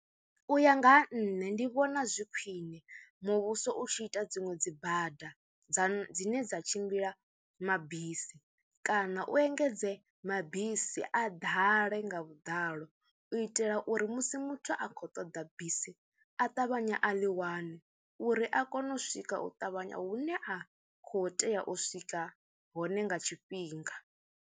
U ya nga ha nṋe ndi vhona zwi khwine muvhuso u tshi ita dziṅwe dzi bada dza dzine dza tshimbila mabisi kana u engedze mabisi a ḓale nga vhudalo u itela uri musi muthu a khou ṱoḓa bisi a ṱavhanye a ḽi wane uri a kone u swika u ṱavhanya hune a khou tea u swika hone nga tshifhinga.